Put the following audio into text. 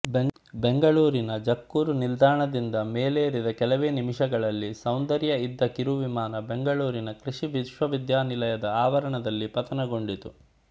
ಬೆಂಗಳೂರಿನ ಜಕ್ಕೂರು ನಿಲ್ದಾಣದಿಂದ ಮೇಲೇರಿದ ಕೆಲವೇ ನಿಮಿಷಗಳಲ್ಲಿ ಸೌಂದರ್ಯ ಇದ್ದ ಕಿರುವಿಮಾನ ಬೆಂಗಳೂರಿನ ಕೃಷಿ ವಿಶ್ವವಿದ್ಯಾಲಯದ ಆವರಣದಲ್ಲಿ ಪತನವಾಗಿತ್ತು